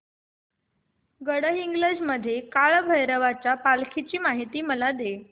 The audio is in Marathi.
गडहिंग्लज मधील काळभैरवाच्या पालखीची मला माहिती दे